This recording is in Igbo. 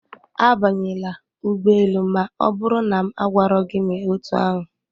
Abanyela ụgbọ elu ma ọ bụrụ na m agwaro gị mee otú ahụ